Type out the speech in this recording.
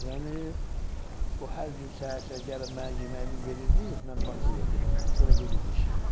Yəni o hər gün səhər-səhər gəlib mənə yeməyimi verirdi, mən qabımı sizə verirdim, sonra gedirdi işə.